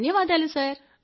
ధన్యవాదాలు సార్